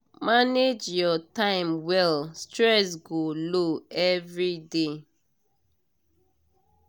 manage your time well stress go low everiday